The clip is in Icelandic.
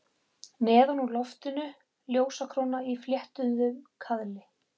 Neðan úr loftinu ljósakróna í fléttuðum kaðli.